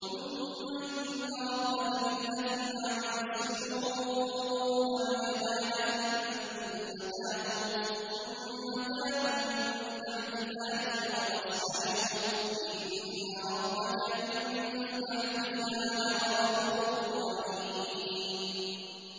ثُمَّ إِنَّ رَبَّكَ لِلَّذِينَ عَمِلُوا السُّوءَ بِجَهَالَةٍ ثُمَّ تَابُوا مِن بَعْدِ ذَٰلِكَ وَأَصْلَحُوا إِنَّ رَبَّكَ مِن بَعْدِهَا لَغَفُورٌ رَّحِيمٌ